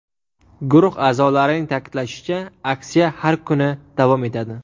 Guruh a’zolarining ta’kidlashicha, aksiya har kuni davom etadi.